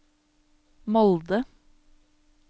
Molde